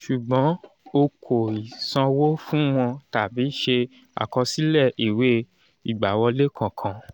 ṣùgbọ́n o kò ì sanwó fun wọn tàbí ṣe àkọsílẹ̀ ìwé ìgbàwọlé kankan